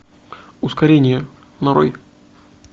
ускорение нарой